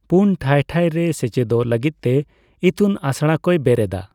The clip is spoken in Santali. ᱯᱩᱱ ᱴᱷᱟᱹᱭᱼᱴᱷᱟᱹᱭ ᱨᱮ ᱥᱮᱪᱮᱫᱚᱜ ᱞᱟ.ᱜᱤᱫ ᱛᱮ ᱤᱛᱩᱱ ᱟᱥᱲᱟ ᱠᱚᱭ ᱵᱮᱨᱮᱫᱟ ᱾